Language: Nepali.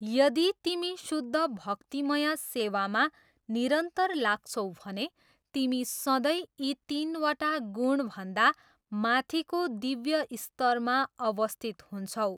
यदि तिमी शुद्ध भक्तिमय सेवामा निरन्तर लाग्छौ भने तिमी सधैँ यी तिनवटा गुणभन्दा माथिको दिव्य स्तरमा अवस्थित हुन्छौ।